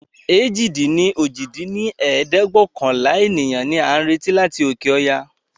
èjì-dín-ní-ojì dín ní ẹ̀ẹ́dẹ́gbẹ́ọ̀kànlá ènìyàn ni a ń retí láti òkè ọya